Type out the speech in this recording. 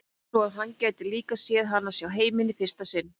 Svo að hann gæti líka séð hana sjá heiminn í fyrsta sinn.